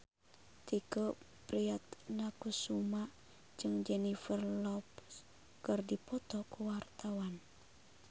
Tike Priatnakusuma jeung Jennifer Lopez keur dipoto ku wartawan